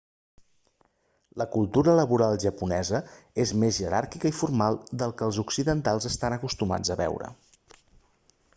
la cultura laboral japonesa és més jeràrquica i formal del que els occidentals estan acostumats a veure